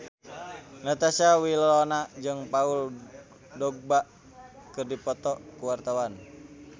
Natasha Wilona jeung Paul Dogba keur dipoto ku wartawan